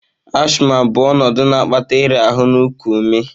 Asthma bụ ọnọdụ na-akpata ịra ahụ na iku ume.